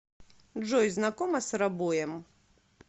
джой знакома с робоем